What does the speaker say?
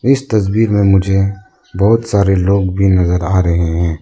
इस तस्वीर में मुझे बहोत सारे लोग भी नजर आ रहे हैं।